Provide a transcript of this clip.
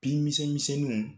Bin misemise niw